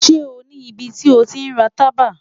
Ṣe o ni ibiti o ti ra taba?